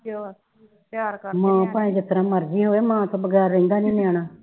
ਮਾਂ ਭਾਵੇ ਜਿਸ ਤਰ੍ਹਾਂ ਮਰਜੀ ਹੋਵੇ ਮਾਂ ਤੋਂ ਬਗੈਰ ਰਹਿੰਦਾ ਨਹੀ ਨਿਆਣਾ